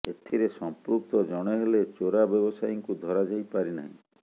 ଏଥିରେ ସଂପୃକ୍ତ ଜଣେ ହେଲେ ଚୋରା ବ୍ୟବସାୟୀଙ୍କୁ ଧରାଯାଇ ପାରିନାହିଁ